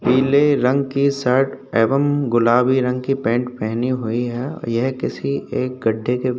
पिले रंग की शर्ट एवं गुलाबी रंग की पैंट पहनी हुवी है। यह किसी एक गड्ढे के --